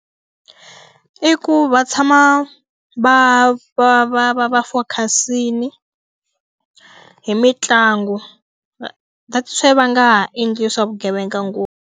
I ku va tshama va va va va va focus-ile hi mitlangu that is why va nga ha endli swa vugevenga ngopfu.